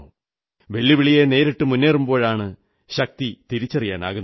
വെല്ലുവിളിയെ നേരിട്ടു മുന്നേറുമ്പോഴാണ് ശക്തി തിരിച്ചറിയാനാകുന്നത്